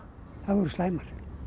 þær voru slæmar